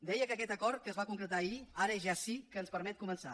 deia que aquest acord que es va concretar ahir ara ja sí que ens permet començar